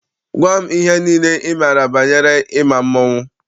Gwa m ihe niile ị maara banyere ịma mmọnwụ!